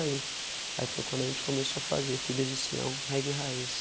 aí foi quando a gente começou a fazer, filhos de Sião, reggae raiz.